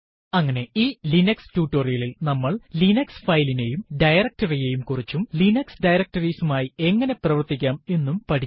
അങ്ങനെ ഈ ലിനക്സ് ടുടോരിയലിൽ നമ്മൾ ലിനക്സ് ഫയലിനെയും directory യെയും കുറിച്ചും ലിനക്സ് ഡയറക്ടറീസ് മായി എങ്ങനെ പ്രവര്ത്തിക്കാം എന്നും പഠിച്ചു